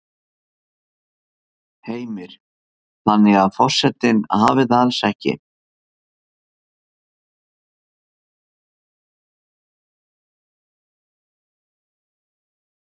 Heimir: Þannig að forsetinn hafi það alls ekki?